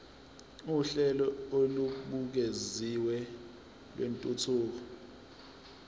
uhlelo olubukeziwe lwentuthuko